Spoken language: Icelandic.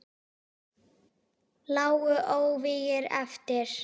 Lágu óvígir eftir.